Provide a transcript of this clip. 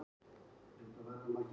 Hann fór.